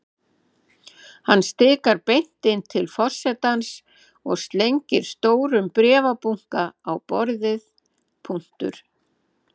Hann stikar beint inn til forsetans og slengir stórum bréfabunka á borðið.